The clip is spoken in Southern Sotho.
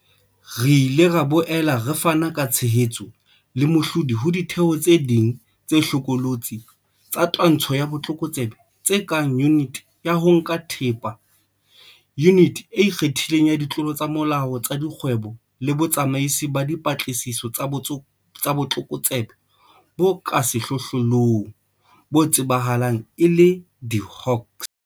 Re ile ra boela re fana ka tshehetso le mehlodi ho ditheo tse ding tse hlokolotse tsa twantsho ya botlokotsebe tse kang Yuniti ya ho Nka Thepa, Yuniti e Ikgethileng ya Ditlolo tsa Molao tsa Dikgwebo le Botsamaisi ba Dipatlisiso tsa Botlokotsebe bo ka Sehlohlolong, bo tsebahalang e le di-Hawks.